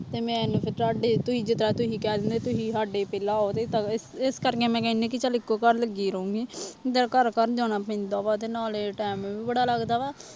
ਤੇ ਮੈਨੂੰ ਫਿਰ ਤੁਹਾਡੇ ਤੁਸੀਂ ਜਿੱਦਾਂ ਤੁਸੀਂ ਕਹਿ ਦਿੰਦੇ ਤੁਸੀਂ ਸਾਡੇ ਪਹਿਲਾਂ ਆਓ ਤੁਸੀਂ ਤਾਂ ਇ ਇਸ ਕਰਕੇ ਮੈਂ ਕਹਿਨੀ ਕਿ ਚੱਲ ਇੱਕੋ ਘਰ ਲੱਗੀ ਰਹੂੰਗੀ ਤੇ ਘਰ ਘਰ ਜਾਣਾ ਪੈਂਦਾ ਵਾ ਤੇ ਨਾਲੇ time ਵੀ ਬੜਾ ਲੱਗਦਾ ਵਾ